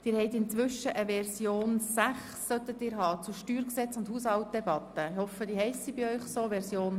Den Grossratsmitgliedern sollte zwischenzeitlich die Version 6 zur Steuergesetz- und Haushaltdebatte vorliegen.